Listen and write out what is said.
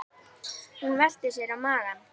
Hún velti sér á magann.